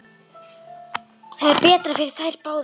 Það er betra fyrir þær báðar.